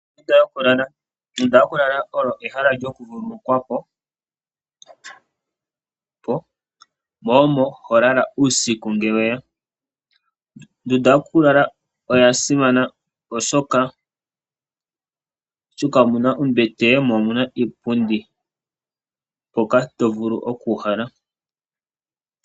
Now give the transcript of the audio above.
Ondunda yokulala Ondunda yokulala olyo ehala lyokuvululukwa po mo omo ho lala uusiku ngele we ya. Ondunda yokulala oya simana, oshoka omu na ombete mo omu na iipundi hoka to vulu okuuhala.